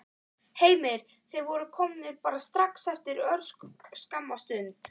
Heimir: Þeir voru komnir bara strax eftir örskamma stund?